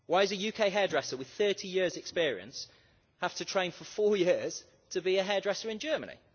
Why is does a UK hairdresser with 30 years' experience have to train for 4 years to be a hairdresser in Germany?